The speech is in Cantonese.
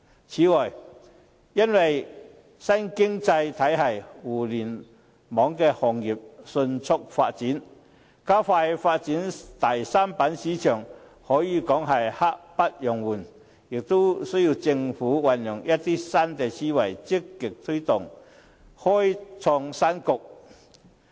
此外，因應新經濟體系和互聯網行業迅速發展，加快發展第三板市場可以說是刻不容緩，而政府亦需要運用一些新思維，積極推動，開創新局。